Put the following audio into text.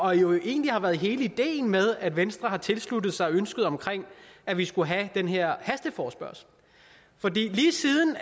har jo egentlig været hele ideen med at venstre har tilsluttet sig ønsket om at vi skulle have den her hasteforespørgsel lige siden